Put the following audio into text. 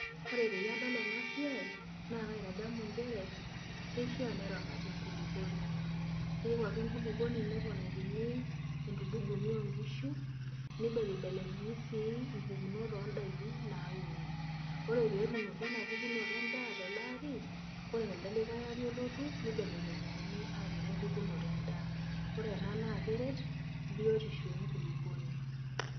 Ore peyie adol ena siai naa kaitadamu nchere keishia neramati enkulukuoni keyieu ake enkulukuoni neponakini entulung`umi oo nkishu neibelebelekenyi sii mbukunot oo n`daiki naauni. Ore pee etuunoki embukunoto e n`daa tele ari ore telde likae ari olotu neibelekenyakini aapik enkae pukunoto e n`daa. Ore ena keret biotisho e nkulukuoni.